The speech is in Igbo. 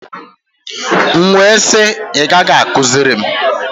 M wee sị, ị gaghị akụziri m!